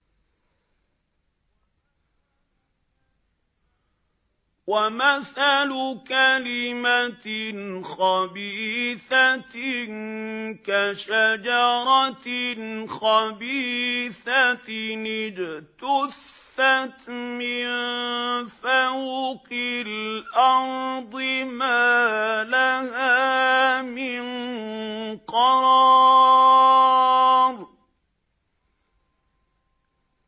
وَمَثَلُ كَلِمَةٍ خَبِيثَةٍ كَشَجَرَةٍ خَبِيثَةٍ اجْتُثَّتْ مِن فَوْقِ الْأَرْضِ مَا لَهَا مِن قَرَارٍ